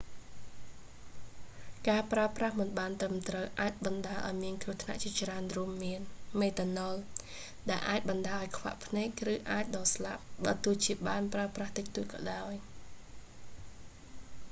ការប្រើប្រាស់មិនបានត្រឹមត្រូវអាចបណ្តាលឱ្យមានគ្រោះថ្នាក់ជាច្រើនរួមមាន មេតាណុល ដែលអាចបណ្តាលឱ្យខ្វាក់ភ្នែកឬអាចដល់ស្លាប់ បើទោះជាបានប្រើប្រាស់តិចតួចក៏ដោយ